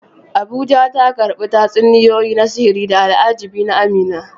Abuja, ta karbi tatsuniyoyi na sihiri da al'ajabi na Amina.